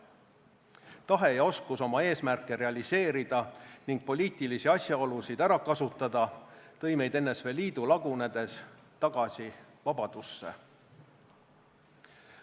Tahe ja oskus oma eesmärke realiseerida ning poliitilisi asjaolusid ära kasutada tõi meid NSV Liidu lagunedes tagasi vabadusse.